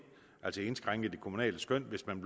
altså indskrænke det kommunale skøn hvis man